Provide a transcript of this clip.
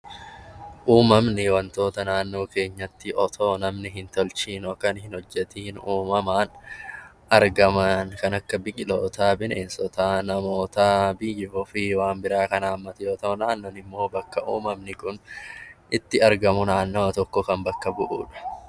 Uumamni wantoota naannoo keenyatti otoo namni hin tolchiin yookaan hin hojjetiin uumamaan kan argaman kan akka biqilootaa, namootaa, biiyya ofii waan biraa kan haammatu yoo ta'an bakka uumamni kun itti argamu naannoo tokko kan bakka bu'udha.